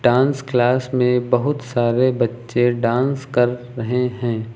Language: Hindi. डांस क्लास में बहुत सारे बच्चे डांस कर रहे है।